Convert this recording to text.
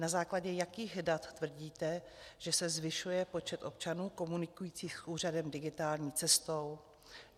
Na základě jakých dat tvrdíte, že se zvyšuje počet občanů, komunikujících s úřadem digitální cestou?